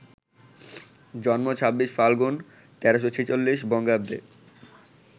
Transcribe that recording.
জন্ম ২৬ ফাল্গুন, ১৩৪৬ বঙ্গাব্দে